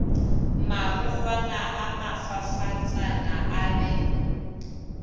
marokgwana a mafafatsana a be